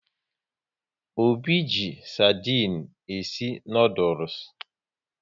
Obi ji sardinu e si noodules